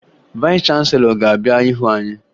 Vayịs chanselọ ga-abịa hụ anyị